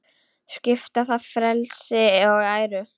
Svipta það frelsi og æru.